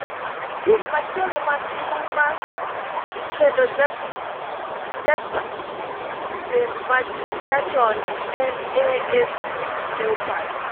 Tim machielo man gi huma kendo ja peim ma nyachon en AFC Leopards